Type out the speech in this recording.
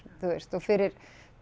þú veist og fyrir